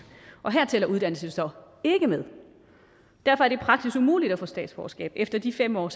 og her tæller uddannelse så derfor er det praktisk umuligt at få statsborgerskab efter de fem år